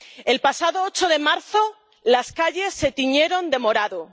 El pasado 8 de marzo las calles se tiñeron de morado.